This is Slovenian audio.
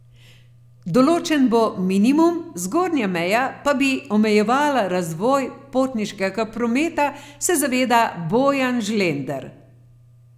Določen bo minimum, zgornja meja pa bi omejevala razvoj potniškega prometa, se zaveda Bojan Žlender.